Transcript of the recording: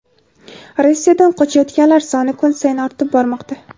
Rossiyadan qochayotganlar soni kun sayin ortib bormoqda.